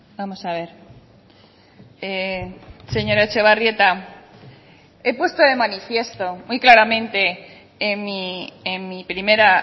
vamos a ver señora etxebarrieta he puesto de manifiesto muy claramente en mi primera